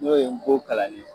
N'o ye Ngo kalanni ye.